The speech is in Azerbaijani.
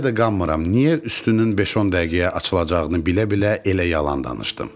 Hələ də qanmıram niyə üstünün 5-10 dəqiqəyə açılacağını bilə-bilə elə yalan danışdım.